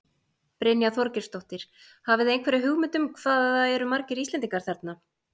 Brynja Þorgeirsdóttir: Hafið þið einhverja hugmynd um hvað það eru margir Íslendingar þarna?